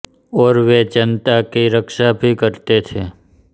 और वे जनाता की रक्षा भी करते थे